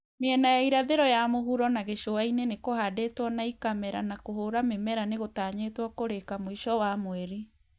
Miena ya irathĩro ya mũhuro na gĩcũa-inĩ nĩkũhandĩtwo na ikamera na kũhũũra mĩmera nĩgũtanyĩtwo kũrĩka mũico wa mweri